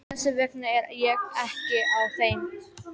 Þess vegna er ég ekki á þeim.